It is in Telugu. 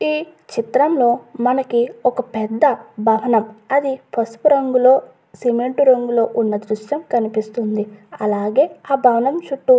ఈ చిత్రం లో మనకి ఒక పెద్ద భవనం అది పసుపు రంగులో సిమెంట్ రంగులో ఉన్న దృశ్యం కనిపిస్తుంది అలాగే ఆ భవనం చుట్టూ.